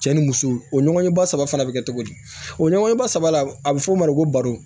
Cɛ ni muso o ɲɔgɔnye ba saba fana bɛ kɛ cogo di o ɲɔgɔnye ba saba la a bɛ fɔ o ma ko baro